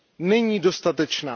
Není dostatečná.